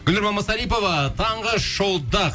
гүлнұр мамасарипова таңғы шоуда